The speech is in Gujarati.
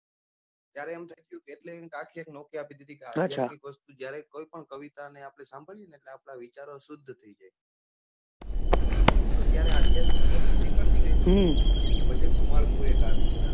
ત્યારે એમ થઇ કે અધ્યાત્મિક વસ્તુ જ્યાર કોઈ પણ વસ્તુ જયારે કવિતા ને આપડે સાંભળીએ ને એટલે આપડાવિચારો શુદ્ધ થઇ જાય તો ત્યારે અધ્યાત્મિક વસ્તુ નીકળતી ગઈ એટલે ભજન નું માળખું એક આવ્યું.